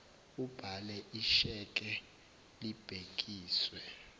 ubhale isheke libhekiswe